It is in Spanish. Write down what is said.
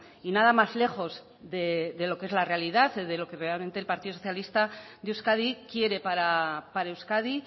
y nada más lejos de lo que es la realidad de lo que realmente el partido socialista de euskadi quiere para euskadi